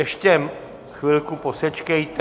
Ještě chvilku posečkejte.